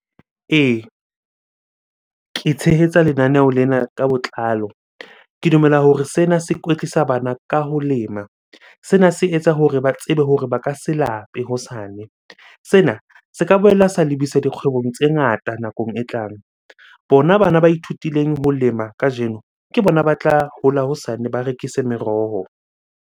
Ee, ke tshehetsa lenaneho lena ka botlalo. Ke dumela hore sena se kwetlisa bana ka ho lema. Sena se etsa hore ba tsebe hore ba ka se lape hosane. Sena se ka boela sa lebisa dikgwebo tse ngata nakong e tlang. Bona bana ba ithutileng ho lema kajeno, ke bona ba tla hola hosane, ba rekise meroho.